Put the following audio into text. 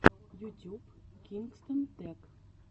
ютюб кингстон тэк